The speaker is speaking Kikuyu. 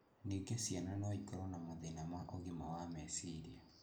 Ningĩ ciana no ikorũo na mathĩna ma ũgima wa meciria